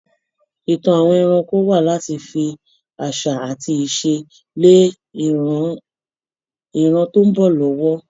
Ìtàn àwọn ẹranko wà láti fi àṣà àti ìṣe lé ìran tó ń bọ̀ lọ́wọ́.